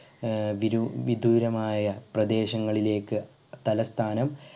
ഏർ വിരൂ വിദൂരമായ പ്രദേശങ്ങളിലേക്ക് തലസ്ഥാനം